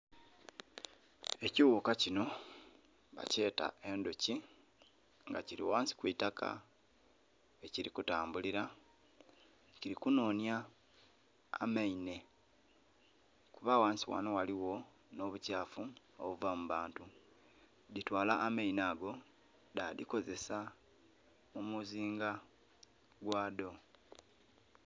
Ekighuka kinho bakyeta endhoki nga kili ghansi kwitaka ghe kili kutambulila kili ku nonhya amainhe kuba ghansi ghanho ghaligho nho bu kyafu obuva mu bantu. Dhitwala amainhe ago dha dhikozesa mu muzinga gwadho.